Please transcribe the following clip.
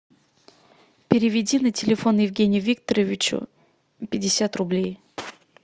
переведи на телефон евгению викторовичу пятьдесят рублей